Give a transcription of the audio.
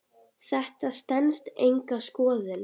Þetta stenst enga skoðun.